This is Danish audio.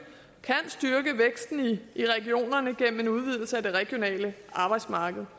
kan styrke væksten i regionerne gennem en udvidelse af det regionale arbejdsmarked